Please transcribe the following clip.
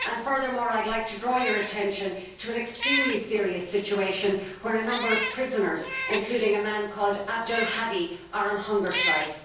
Furthermore I would like to draw your attention to an extremely serious situation where a number of prisoners, including a man called Abdulhadi al Khawaja, are on hunger strike.